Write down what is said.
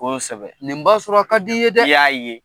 Kosɛbɛ, nin b'a sɔrɔ a ka di ye dɛ, I y'a ye.